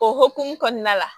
O hokumu kɔnɔna la